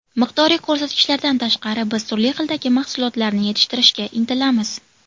Miqdoriy ko‘rsatkichlardan tashqari, biz turli xildagi mahsulotlarni yetishtirishga intilamiz.